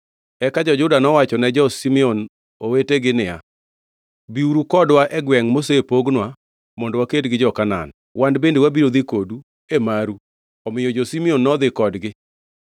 Eka jo-Juda nowachone jo-Simeon mowetegi niya, “Biuru kodwa e gwengʼ mosepogwa, mondo waked gi jo-Kanaan. Wan bende wabiro dhi kodu e maru.” Omiyo jo-Simeon nodhi kodgi.